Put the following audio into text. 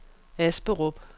Asperup